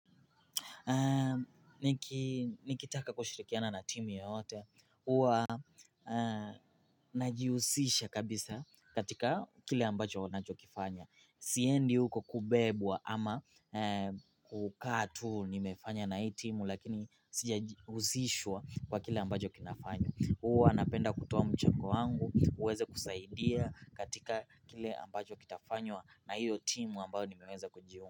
Ni kitaka kushirikiana na timu yoyote Uwa eeh najihusisha kabisa katika kile ambacho wanachokifanya Siendi huko kubebwa ama eeh kukaatu ni mefanya na hii timu Lakini sija husishwa kwa kile ambacho kinafanywa huwa napenda kutoa mchango wangu uweze kusaidia katika kile ambacho kitafanywa na hio timu ambao nimeweza kujiunga.